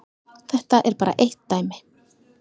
Þetta er bara eitt dæmi.